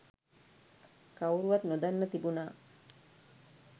කවුරුවත් නොදන්න තිබුනා.